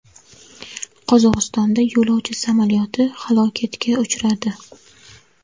Qozog‘istonda yo‘lovchi samolyoti halokatga uchradi.